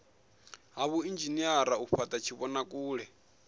ha vhuinzhinere u fhata tshivhonakule